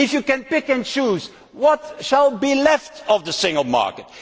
If you can pick and choose, what will be left of the single market?